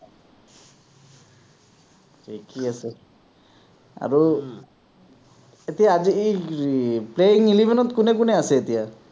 এই কি আছে আৰু এতিয়া আজি এই playing eleven ত কোন কোন আছে এতিয়া?